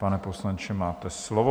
Pane poslanče, máte slovo.